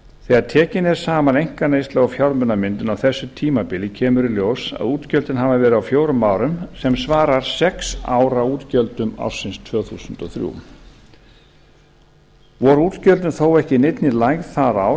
þegar tekin er saman einkaneysla og fjármunamyndun á þessu tímabili kemur í ljós að útgjöldin hafa verið á fjórum árum sem svarar sex ára útgjöldum ársins tvö þúsund og þrjú voru útgjöldin þó ekki í neinni lægð það ár